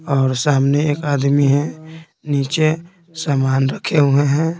और सामने एक आदमी है नीचे सामान रखे हुए हैं।